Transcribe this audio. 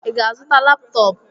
I ga-azụta laptọp?